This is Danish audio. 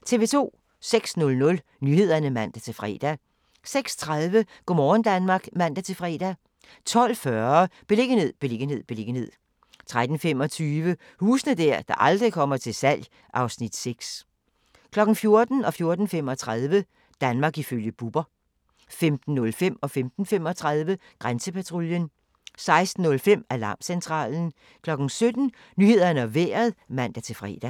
06:00: Nyhederne (man-fre) 06:30: Go' morgen Danmark (man-fre) 12:40: Beliggenhed, beliggenhed, beliggenhed 13:25: Huse der aldrig kommer til salg (Afs. 6) 14:00: Danmark ifølge Bubber 14:35: Danmark ifølge Bubber 15:05: Grænsepatruljen 15:35: Grænsepatruljen 16:05: Alarmcentralen 17:00: Nyhederne og Vejret (man-fre)